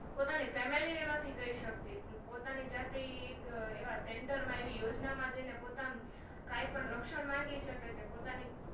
પોતાની Family ને નથી કઈ સકતી પોતાની જાતેઈ એક એવા Centre માં એવી યોજના માં જઈને પોતાની કાઈ પણ રક્ષણ માંગી શકે પોતાની